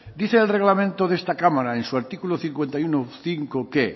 dice el reglamento de esta cámara en su artículo cincuenta y uno punto cinco que